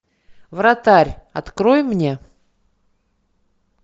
вратарь открой мне